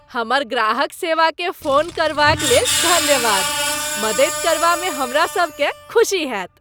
हमर ग्राहक सेवाकेँ फोन करबाक लेल धन्यवाद। मदति करबामे हमरा सभकेँ खुशी होएत।